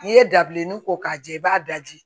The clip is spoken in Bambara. N'i ye dabileni ko k'a jɛ i b'a daji